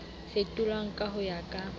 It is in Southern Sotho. fetolwang ka ho ya ka